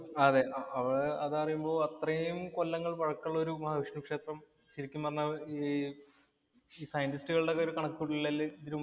അതേ, അത് പറയുമ്പോ അത്രേം കൊല്ലങ്ങള്‍ പഴക്കമുള്ള മഹാവിഷ്ണു ക്ഷേത്രം ശരിക്കും പറഞ്ഞാല്‍ scientist ഉകളുടെയൊക്കെ കണക്കുകൂട്ടലില്‍ ഇതിനു മുമ്പ് ഇല്ല.